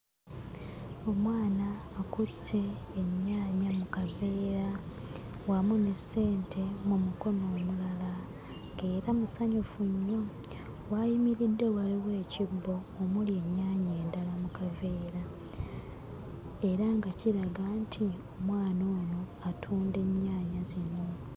Omwana akutte ennyaanya mu kaveera wamu n'essente mu mukono omulala, era musanyufu nnyo. W'ayimiridde waliwo ekibbo omuli ennyaanya endala mu kaveera era nga kiraga nti omwana ono atunda ennyaanya zino.